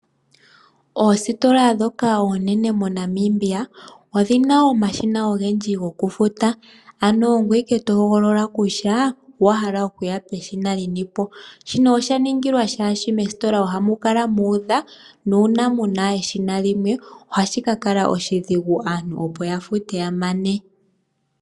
Oositola dhoka oonene mo Namibia odhina omashina ogendji goku futa, ano ongoye wala to hogolola kutya owahala okuya peshina linipo, shino osha ningilwa shaashi moositola ohamu kala muudha nuuna muna eshina limwe, ohashi ka kala oshidhigu aantu opo ya fute ya mane.